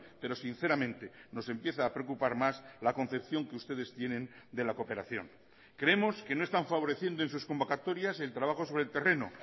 pero sinceramente nos empieza a preocupar más la concepción que ustedes tienen de la cooperación creemos que no están favoreciendo en sus convocatorias el trabajo sobre el terreno